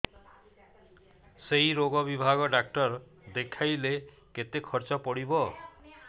ସେଇ ରୋଗ ବିଭାଗ ଡ଼ାକ୍ତର ଦେଖେଇଲେ କେତେ ଖର୍ଚ୍ଚ ପଡିବ